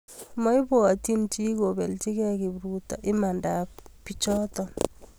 Maipwatchi chi kobelchikey kipruto imanda ap pichoto